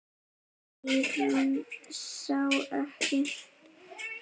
Eyrún sá ekki.